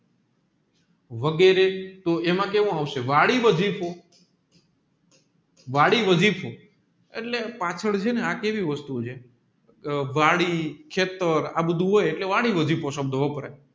વગેરે તોહ એમાં કેવું આવશે વળી એટલે પાછળ ચેને આ કેવી વસ્તુ છે આ વળી ખેતર આ બધું હોય એટલે સંબધો વપરાય